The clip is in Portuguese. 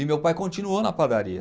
E meu pai continuou na padaria.